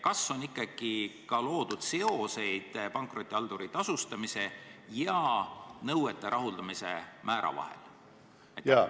Kas on loodud ikkagi ka seoseid pankrotihalduri tasustamise ja nõuete rahuldamise määra vahel?